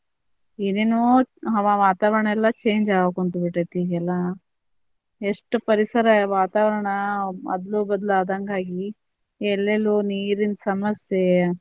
ಏನೇನೊ ಹವಾ ವಾತಾವರಣ ಎಲ್ಲಾ change ಆಗಾಕ್ ಕುಂತಬಿಟ್ಟೇತಿ ಈಗ ಎಲ್ಲಾ, ಎಷ್ಟ್ ಪರಿಸರ ವಾತಾವರಣ ಅದ್ಲು ಬದ್ಲು ಆದಂಗಾಗಿ ಎಲ್ಲೆಲ್ಲೋ ನೀರಿನ ಸಮಸ್ಯೆ,